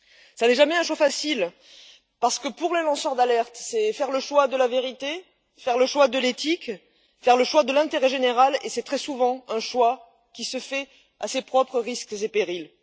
Cela n'est jamais un choix facile parce que, pour les lanceurs d'alerte, c'est faire le choix de la vérité, faire le choix de l'éthique, faire le choix de l'intérêt général, et c'est très souvent un choix qui se fait à ses propres risques et périls.